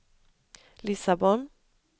Lissabon